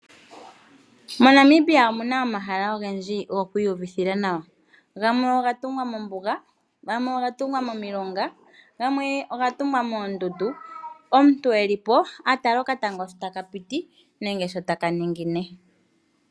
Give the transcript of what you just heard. MoNamibia omuna ohayala ogendji gokwiyuvithila nawa, gamwe ogatungwa mombuga, gamwe ogatungwa momilonga, gamwe ogatungwa moondundu. Omuntu eli po atala okatango shotakapiti nenge shotakaningine.